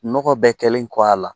Dɔgɔ bɛɛ kɛlen kɔ a la